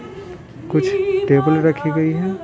कुछ टेबल रखी गई हैं।